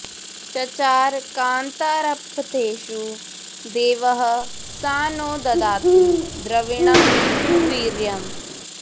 चचार कान्तारपथेषु देवः स नो ददातु द्रविणं सुवीर्यम्